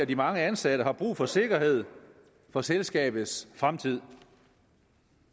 de mange ansatte har brug for sikkerhed for selskabets fremtid